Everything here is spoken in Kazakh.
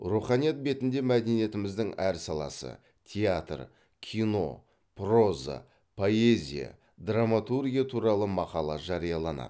руханият бетінде мәдениетіміздің әр саласы театр кино проза поэзия драматургия туралы мақала жарияланады